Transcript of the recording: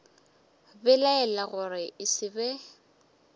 belaela gore e se be